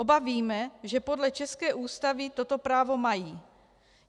Oba víme, že podle české Ústavy toto právo mají.